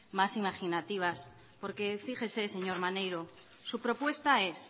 más imaginativas porque fíjese señor maneiro su propuesta es